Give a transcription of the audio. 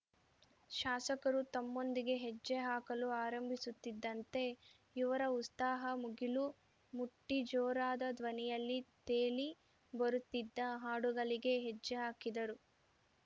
ಶಾಸಕರು ತಮ್ಮೊಂದಿಗೆ ಹೆಜ್ಜೆ ಹಾಕಲು ಆರಂಭಿಸುತ್ತಿದ್ದಂತೆ ಯುವರ ಉಸ್ತಾಹ ಮುಗಿಲು ಮುಟ್ಟಿ ಜೋರಾದ ಧ್ವನಿಯಲ್ಲಿ ತೇಲಿ ಬರುತ್ತಿದ್ದ ಹಾಡುಗಳಿಗೆ ಹೆಜ್ಜೆಹಾಕಿದರು